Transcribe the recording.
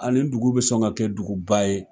Aa nin dugu be sɔn ka kɛ dugu ba ye.